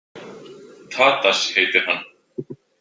Tadas heitir hann.